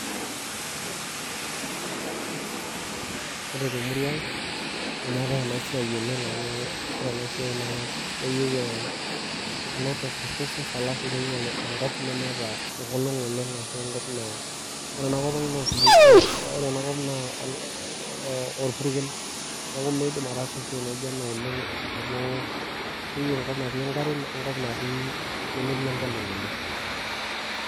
Kore temurua ang',nemeetai ena siai oleng amu kore ena siai keyieu eh a lot of resources alafu keyieu enkop nemeeta enkolong' oleng' aashu enkop natii isoitok. Kore enakop ang' naa orpukel, neaku mindim ataasa esiai naijo ena oleng' amu keyieu enkop natii enkare onemetii enkolong' oleng'